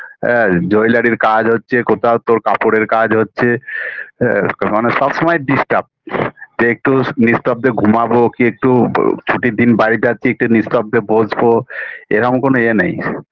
হ্যাঁ jewelry -র কাজ হচ্ছে কোথাও তোর কাপড়ের কাজ হচ্ছে আ মানে সব সময় disturb যে একটু নিঃস্তব্ধে ঘুমাবো কি একটু ছুটির দিন বাড়ি যাচ্ছি একটু নিঃস্তব্ধে বসবো এরম কোনো ইয়ে নেই